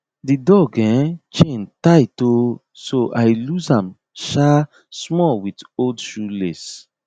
di dog um ch ain tight um so i lose am um small with old shoelace